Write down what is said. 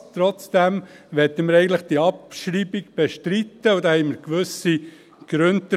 Trotzdem möchten wir die Abschreibung bestreiten, und dafür haben wir gewisse Gründe.